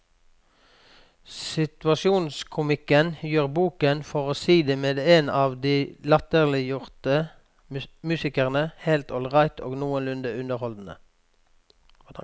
Situasjonskomikken gjør boken, for å si det med en av de latterliggjorte musikerne, helt ålreit og noenlunde underholdende.